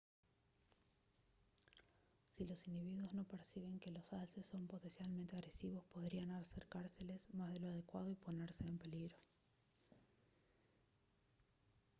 si los individuos no perciben que los alces son potencialmente agresivos podrían acercárseles más de lo adecuado y ponerse en peligro